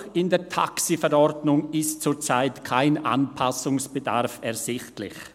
Auch in der Taxiverordnung ist zurzeit kein Anpassungsbedarf ersichtlich.